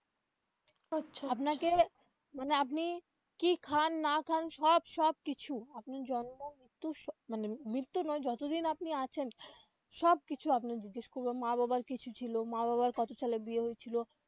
আচ্ছা আচ্ছা আপনাকে মানে আপনি কি খান না খান সব সব কিছু আপনার জন্ম মৃত্যু সব মানে মৃত্যু নয় যতদিন আপনি আছেন সব কিছু আপনার জিজ্ঞেস করবে মা বাবার কিছু ছিল মা বাবার কত সালে বিয়ে হয়েছিল.